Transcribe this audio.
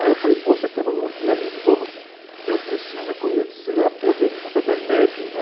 Aí eu falei, poxa, temos um dia livre, vamos, que eu preciso conhecer a Bodeguita del Medio, né?